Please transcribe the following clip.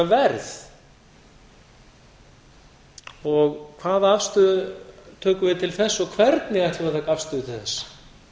verð og hvaða afstöðu tökum við til þess og hvernig ætlum